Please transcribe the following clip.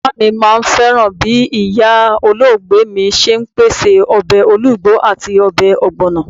Bàbá mi máà ń fẹ́ràn bí ìyá olóògbé mi ṣe ń pèsè ọbẹ̀ ológbo àti ọbẹ̀ ogbono.